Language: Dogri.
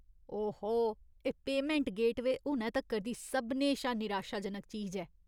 ओहो, एह् पेमैंट गेटवेऽ हुनै तक्कर दी सभनें शा निराशाजनक चीज ऐ।